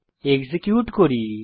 execute করি